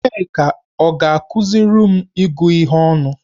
Nneka ọ ga-akụziri m ịgụ ihe ọnụ?